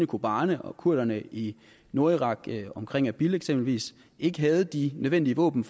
kobane og kurderne i nordirak omkring erbil eksempelvis ikke havde de nødvendige våben